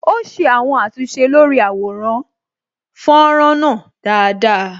Ó ṣe àwọn àtúnṣe lórí àwọn àwòrán fọ́nrán náà dáadáa